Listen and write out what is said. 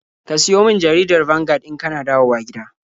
Ka siyo min jaridar Vanguard in ka na dawowa gida.